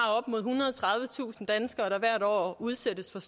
hvert år udsættes for